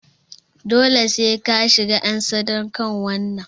Dole sai ka shiga en sadaukarwan nan!